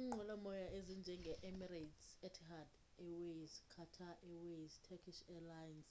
iinqwelomoya ezinjenge emirates etihad airways qatar airways neturkish airlines